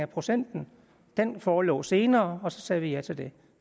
procenten den forelå senere og så sagde vi ja til det